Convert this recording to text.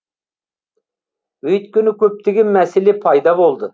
өйткені көптеген мәселе пайда болды